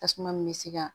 Tasuma min bɛ se ka